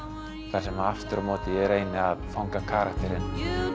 þar sem aftur á móti ég reyni að fanga karakterinn